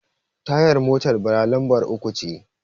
tayar motar Bala lambar uku ce